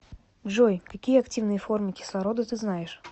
джой какие активные формы кислорода ты знаешь